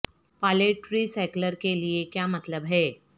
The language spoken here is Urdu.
پالیٹ ری سائیکلر کے لئے یہ کیا مطلب ہے